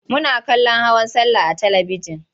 Muna kallon hawan sallah a talibijin.